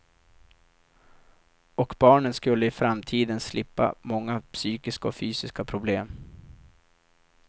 Och barnen skulle i framtiden slippa många psykiska och fysiska problem.